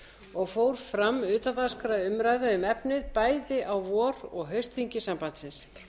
og fór fram utandagskrárumræða um efnið bæði á vor og haustþingi sambandsins